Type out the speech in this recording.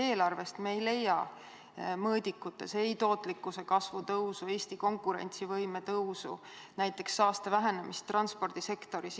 Eelarvest me ei leia mõõdikutes ei tootlikkuse kasvu tõusu ega Eesti konkurentsivõime tõusu, samuti mitte näiteks saaste vähenemist transpordisektoris.